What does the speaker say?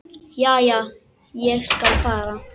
Já, já, ég skal fara.